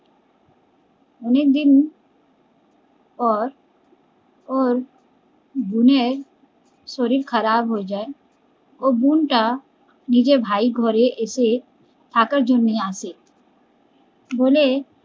অনেকদিন পর ওর বোনের শরীর খারাপ হয়ে যায়, ওর বোন টা নিজের ভাই ঘরে এসে থাকার জন্য আসে বলে